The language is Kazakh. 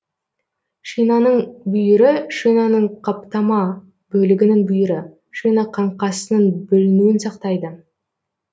шинаның бүйірі шинаның каптама бөлігінің бүйірі шина қаңқасының бүлінуін сақтайды